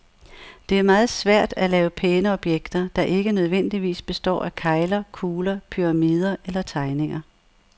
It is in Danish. Det er meget svært at lave pæne objekter, der ikke nødvendigvis består af kegler, kugler, pyramider eller terninger.